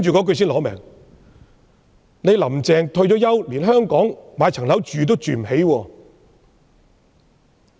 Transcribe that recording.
他說："特首'林鄭'退休後在香港連一層樓也買不起。